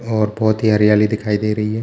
और बहोत ही हरयाली दिखाई दे रही है।